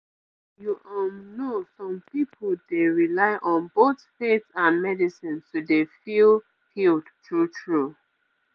you um know some pipu dey rely on both faith and medicine to dey feel healed true true